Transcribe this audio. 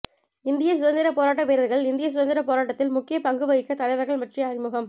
இந்திய சுதந்திரப் போராட்ட வீரர்கள்இந்திய சுதந்திரப் போராட்டத்தில் முக்கியப் பங்குவகித்த தலைவர்கள் பற்றிய அறிமுகம்